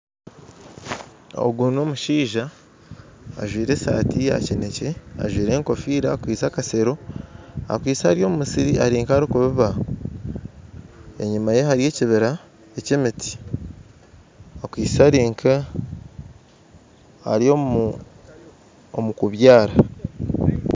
Ogu nomushaija ajwaire esaati yakinekye ajwaire enkofiira akwaitse akasero akwaitse Ari omumusiri arinkarikubiba enyuma ye hariyo ekibira ekyemiti akwaitse arinka ari omukubyara